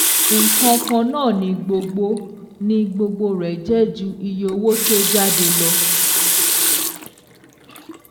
Nǹkan kan náà ni gbogbo ni gbogbo rẹ̀ jẹ́ ju iye owó tí ó jáde lọ